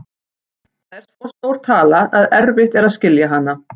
Það er svo stór tala að erfitt er að skilja hana.